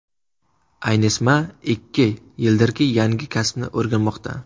Aynesmaa ikki yildirki yangi kasbni o‘rganmoqda.